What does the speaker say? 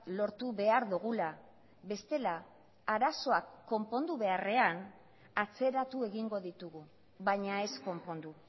lortu behar dugula bestela arazoak konpondu beharrean atzeratu egingo ditugu baina ez konpondu